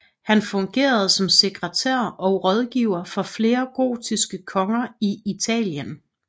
Han fungerede som sekretær og rådgiver for flere gotiske konger i Italien